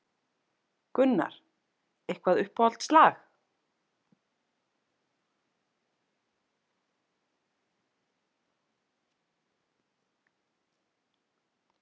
Gunnar: Eitthvað uppáhalds lag?